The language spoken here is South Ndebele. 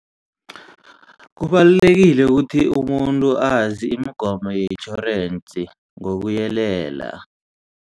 Kubalulekile ukuthi umuntu azi imigomo yetjhorensi ngokuyelela.